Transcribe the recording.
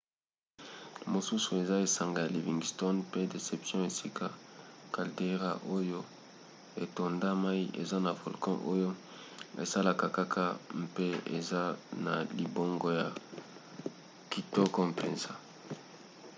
mosusu eza esanga ya livingston mpe deception esika caldeira oyo etonda mai eza na volcan oyo esalaka kaka mpe eza na libongo ya kitoko mpenza